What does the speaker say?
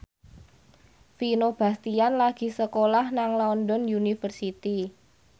Vino Bastian lagi sekolah nang London University